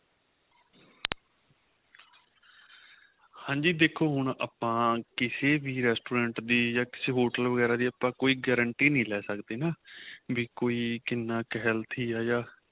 ਹਾਂਜੀ ਦੇਖੋ ਹੁਣ ਆਪਾਂ ਕਿਸੇ ਵੀ Restaurant ਦੀ ਜਾਂ ਕਿਸੇ ਵੀ hotel ਵਗੇਰਾ ਦੀ ਆਪਾਂ ਕੋਈ gratuity ਨਹੀਂ ਲੇ ਸਕਦੇ ਏ ਵੀ ਕੋਈ ਕਿੰਨਾ ਕ਼ healthy ਏ ਯਾਂ